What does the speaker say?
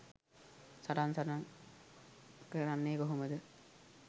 සටන් සටන් කරන්නේ කොහොමද?